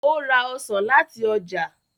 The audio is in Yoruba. o ra ọsán láti ọjà.